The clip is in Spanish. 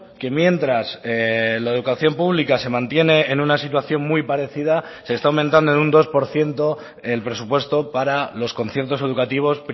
que mientras la educación pública se mantiene en una situación muy parecida se está aumentando en un dos por ciento el presupuesto para los conciertos educativos